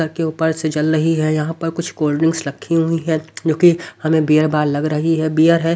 घर के ऊपर से जल रही हैं यहां पर कुछ कोल्डड्रिंक्स रखी हुई है जो कि हमें बियर बार लग रही है बियर है।